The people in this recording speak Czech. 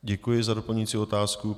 Děkuji za doplňující otázku.